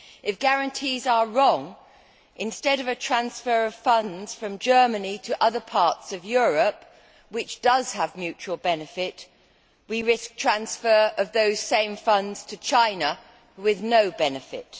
If guarantees are wrong, instead of a transfer of funds from Germany to other parts of Europe, which does have mutual benefit, we risk transfer of those same funds to China with no benefit.